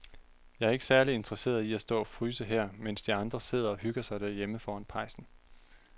Jeg er ikke særlig interesseret i at stå og fryse her, mens de andre sidder og hygger sig derhjemme foran pejsen.